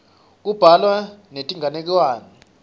kubhalwa netinganekwane